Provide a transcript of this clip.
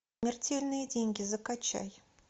смертельные деньги закачай